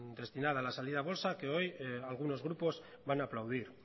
destinada de la salida a bolsa que hoy algunos grupos van a aplaudir